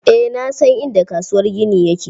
Eh na san inda kasuwar gini yake.